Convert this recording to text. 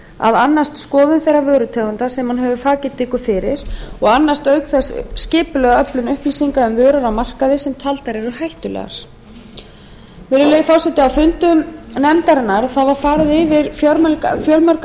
annast skoðun þeirra vörutegunda sem hún hefur faggildingu fyrir og annast auk þess skipulega öflun upplýsinga um vörur á markaði sem taldar eru hættulegar á fundum sínum ræddi nefndin fjölmörg